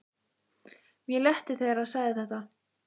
Mér létti þegar hann sagði þetta.